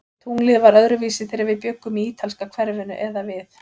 Tunglið var öðruvísi, þegar við bjuggum í ítalska hverfinu eða við